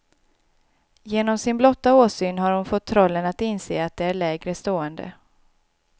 Genom sin blotta åsyn har hon fått trollen att inse att de är lägre stående.